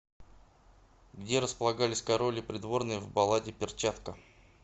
где располагались король и придворные в балладе перчатка